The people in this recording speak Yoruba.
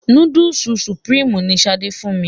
Núdùsù Supreme ni Ṣadé fún mi.